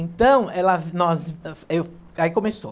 Então, ela nós, ãh, eu... Aí começou.